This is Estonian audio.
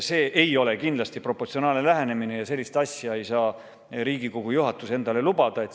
See ei ole kindlasti proportsionaalne lähenemine ja sellist asja ei saa Riigikogu juhatus endale lubada.